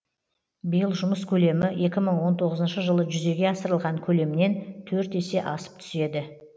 биыл жұмыс көлемі екі мың он тоғызыншы жылы жүзеге асырылған көлемнен төрт есе асып түседі